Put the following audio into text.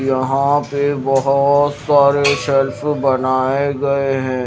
यहां पे बहोत सारे शेल्फ़ बनाए गए हैं।